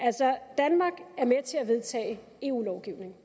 altså danmark er med til at vedtage eu lovgivning